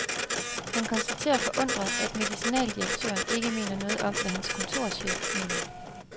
Han konstaterer forundret, at medicinaldirektøren ikke mener noget om, hvad hans kontorchef mener.